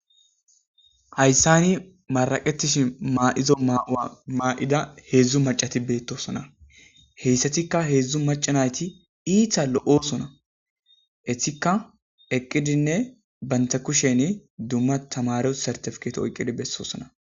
hayssani maraqetishi ma7izo mmaa7ida heedzdzu macati beettosona heyssatikka heedzdzu macanayti iita lo7osona etikka eqqidinne baynta kushen dumma tamare sartafketo oyqqidi bessosona